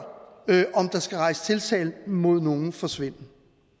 om der skal rejses tiltale mod nogen for svindel